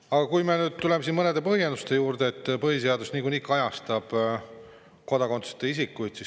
Aga tuleme põhjenduse juurde, et põhiseadus niikuinii kajastab kodakondsuseta isikuid.